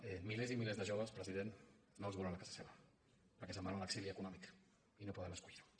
a milers i milers de joves president no els volen a casa seva perquè se’n van a l’exili econòmic i no poden escollir ho